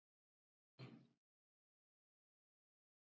Því væru áform óbreytt.